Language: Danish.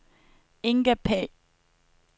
Inga Pagh